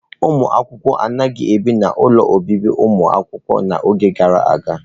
Ụmụ akwụkwọ anaghị ebi n'ụlọ obibi ụmụakwụkwọ n'oge gara aga.